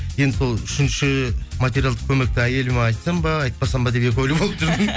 енді сол үшінші материалдық көмекті әйеліме айтсам ба айтпасам ба деп екі ойлы болып